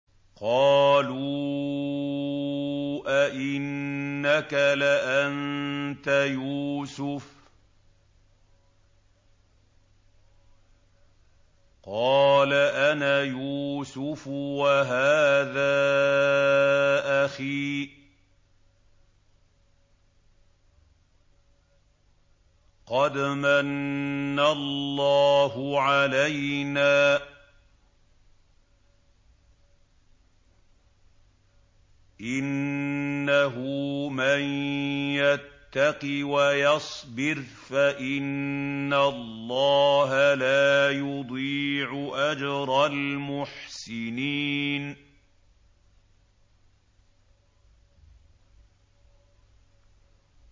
قَالُوا أَإِنَّكَ لَأَنتَ يُوسُفُ ۖ قَالَ أَنَا يُوسُفُ وَهَٰذَا أَخِي ۖ قَدْ مَنَّ اللَّهُ عَلَيْنَا ۖ إِنَّهُ مَن يَتَّقِ وَيَصْبِرْ فَإِنَّ اللَّهَ لَا يُضِيعُ أَجْرَ الْمُحْسِنِينَ